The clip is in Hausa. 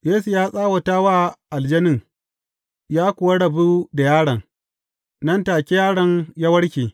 Yesu ya tsawata wa aljanin, ya kuwa rabu da yaron, nan take yaron ya warke.